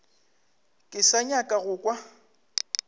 ke sa nyaka go kwa